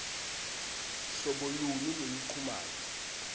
hlobo luni lweluchumano